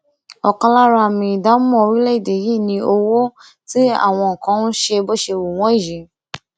ọkan lára àmì ìdámọ orílẹèdè yìí ni owó tí àwọn kan ń ṣe bó ṣe wù wọn yìí